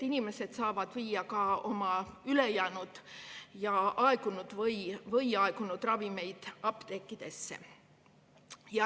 Inimesed saavad viia oma ülejäänud või aegunud ravimeid apteekidesse.